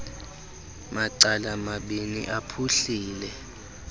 macala mabini aphuhlile